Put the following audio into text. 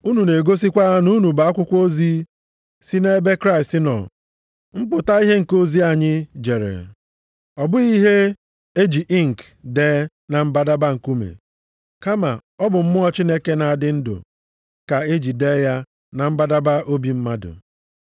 Unu na-egosikwa na unu bụ akwụkwọ ozi si nʼebe Kraịst nọ, mpụta ihe nke ozi anyị jere. Ọ bụghị ihe e ji inki + 3:3 Ya bụ, mkpisi akwụkwọ dee na mbadamba nkume, kama ọ bụ mmụọ Chineke na-adị ndụ ka e ji dee ya na mbadamba obi mmadụ.